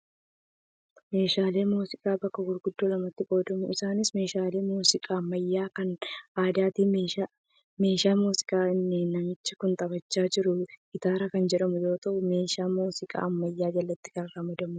Meeshaaleen muuziqaa bakka gurguddoo lamatti qoodamu. Isaanis: meeshaalee muuziqaa ammayyaa fi kan aadaati. Meeshaan muuziqaa inni namichi kun taphachaa jiru gitaara kan jedhamu yoo ta'u, meeshaa muuziqaa ammayyaa jalatti kan ramadamudha.